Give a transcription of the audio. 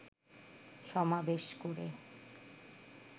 সমাবেশ করে